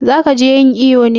Za ki je yin iƴo ne?